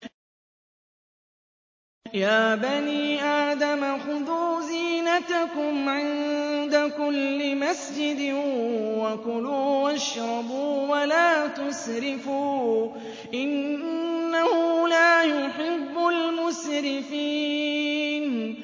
۞ يَا بَنِي آدَمَ خُذُوا زِينَتَكُمْ عِندَ كُلِّ مَسْجِدٍ وَكُلُوا وَاشْرَبُوا وَلَا تُسْرِفُوا ۚ إِنَّهُ لَا يُحِبُّ الْمُسْرِفِينَ